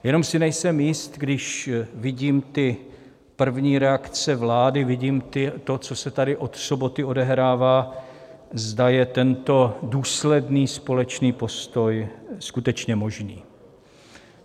Jenom si nejsem jist, když vidím ty první reakce vlády, vidím to, co se tady od soboty odehrává, zda je tento důsledný společný postoj skutečně možný.